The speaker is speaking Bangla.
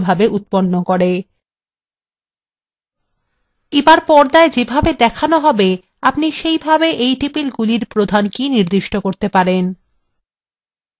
এবার পর্দায় ছবিতে যেমন দেখানো হবে আপনি সেভাবে টেবিলের জন্য প্রধান কী নির্দিষ্ট করতে পারেন: